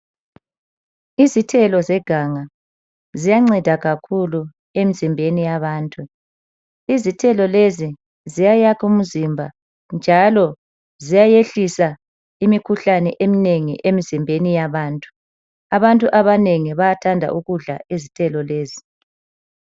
Izithelo zeganga ziyanceda kakhulu emzimbeni yabantu. Izithelo lezi ziyayakha umzimba njalo ziyayehlisa imikhuhlane eminengi emzimbeni yabantu. Abantu abanengi bayathanda ukudla izithelo lezi.